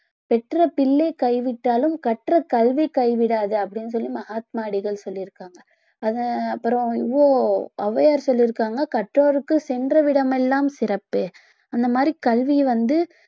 பெற்ற பிள்ளை கைவிட்டாலும் கற்ற கல்வி கைவிடாது அப்படின்னு சொல்லி மகாத்மா அடிகள் சொல்லி இருக்காங்க அது அப்புறம் ஓ~ ஔவையார் சொல்லி இருக்காங்க கற்றோருக்கு சென்ற இடமெல்லாம் சிறப்பு அந்த மாதிரி கல்விய வந்து